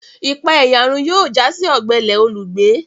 Ipaeyarun yóò já sí ogbele olùgbé